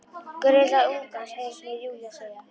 Gröf litla ungans, heyrist mér Júlía segja.